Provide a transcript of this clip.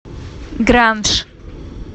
гранж